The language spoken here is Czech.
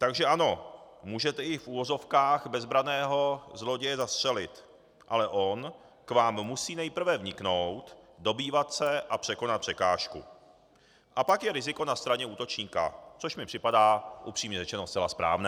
Takže ano, můžete i v uvozovkách bezbranného zloděje zastřelit, ale on k vám musí nejprve vniknout, dobývat se a překonat překážku, a pak je riziko na straně útočníka, což mi připadá, upřímně řečeno, zcela správné.